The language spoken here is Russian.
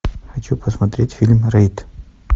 хочу посмотреть фильм рейд